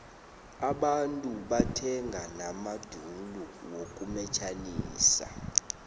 abantungu bathenga namadulu wokumetjhisa